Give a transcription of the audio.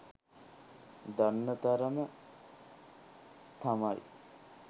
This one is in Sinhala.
දන්න තරම තමයි.